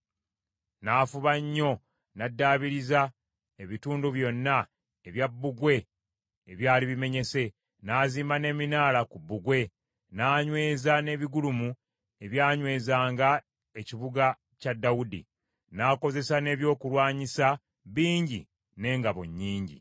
N’afuba nnyo n’addaabiriza ebitundu byonna ebya bbugwe ebyali bimenyese, n’azimba n’eminaala ku bbugwe, n’anyweza n’ebigulumu ebyanywezanga ekibuga kya Dawudi. N’akozesa n’ebyokulwanyisa bingi n’engabo nnyingi.